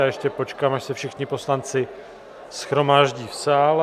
Já ještě počkám, až se všichni poslanci shromáždí v sále.